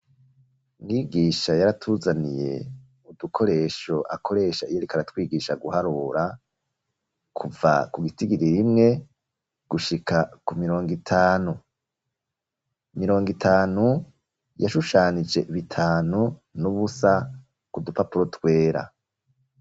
Mwigisha, yaratuzaniye udukoresho, akoresha, iyo ariko aratwigisha guharura, kuva ku gitigiri rimwe, gushika ku mirongo itanu; mirongo itanu, yashushanije bitanu, n'ubusa, ku dupapuro twera.